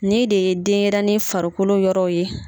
Ne de ye denyɛrɛni farikolo yɔrɔ ye.